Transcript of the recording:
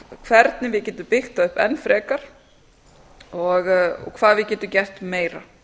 hvernig við getum byggt það upp enn frekar og hvað við getum gert meira